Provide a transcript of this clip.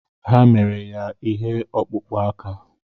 Ha mere ya ihe ọkpụkpụ aka.